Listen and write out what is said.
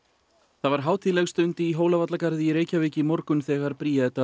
það var hátíðleg stund í Hólavallagarði í Reykjavík í morgun þegar Bríetar